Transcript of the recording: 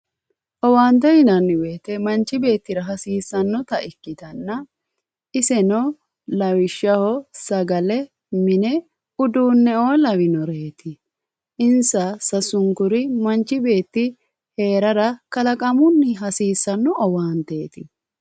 Owaante yinanniwoyite manchi beettira hasiissannota ikkitanna iseno lawishshaho sagale mine uduunneoo lawonore insa sasunkuri manchi beetti heerara kalaqamunni hasiissanno owaanteeti